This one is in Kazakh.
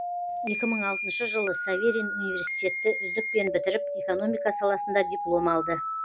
екі мың алтыншы жылы саверин университетті үздікпен бітіріп экономика саласында диплом алды